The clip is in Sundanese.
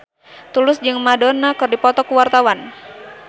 Tulus jeung Madonna keur dipoto ku wartawan